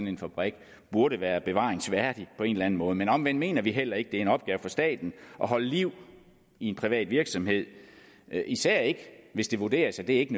en fabrik burde være bevaringsværdig på en eller anden måde men omvendt mener vi heller ikke at det er en opgave for staten at holde liv i en privat virksomhed især ikke hvis det vurderes at det ikke